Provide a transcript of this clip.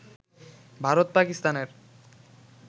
ভারত-পাকিস্তানের